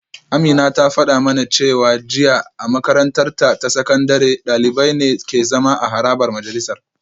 Amina ta fada mana jiya cewa a makarantarta ta sakandare dalibai ne ke zama a harabar majalisar